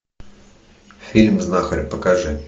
фильм знахарь покажи